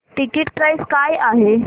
ticket price काय आहे